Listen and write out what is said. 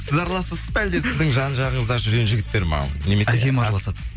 сіз араласасыз ба әлде сіздің жан жағыңызда жүрген жігіттер ма әкем араласады